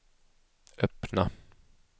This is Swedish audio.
öppna